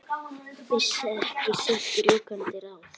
Vissi ekki sitt rjúkandi ráð.